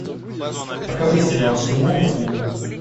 покажи сериал тимон и пумба